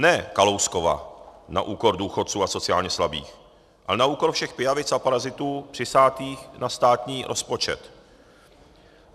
Ne Kalouskova na úkor důchodců a sociálně slabých, ale na úkor všech pijavic a parazitů přisátých na státní rozpočet.